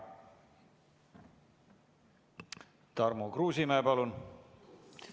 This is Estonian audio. Tarmo Kruusimäe, palun!